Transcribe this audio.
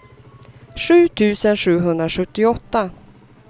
sju tusen sjuhundrasjuttioåtta